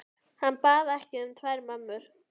Hann bað ekki um tvær mömmur.